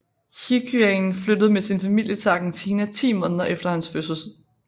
Higuaín flyttede med sin familie til Argentina 10 måneder efter hans fødsel